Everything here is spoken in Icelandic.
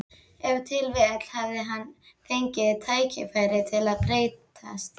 Ef til vill hafði hann fengið tækifæri til að breytast.